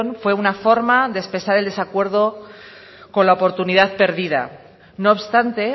fue una forma de expresar el desacuerdo con la oportunidad perdida no obstante